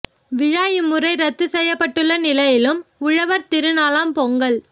விழா இம்முறை இரத்து செய்யப்பட்டுள்ள நிலையிலும் உழவர் திரு நாளாம் பொங்கல்